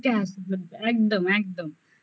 মুখে হাসি ফুটবে একদম একদম